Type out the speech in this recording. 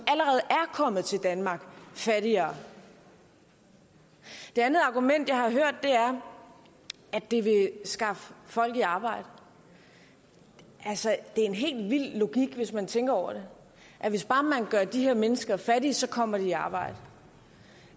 kommet til danmark fattigere det andet argument jeg har hørt er at det vil skaffe folk i arbejde altså en helt vild logik hvis man tænker over det hvis bare man gør de her mennesker fattige kommer de i arbejde